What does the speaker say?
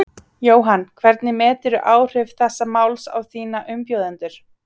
Jóhann: Hvernig meturðu áhrif þessa máls á þína umbjóðendur?